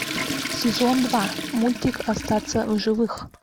сезон два мультик остаться в живых